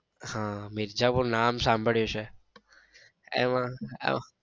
હા મિર્ઝાપૂર નામ સાંભળ્યું છે એમાં અમ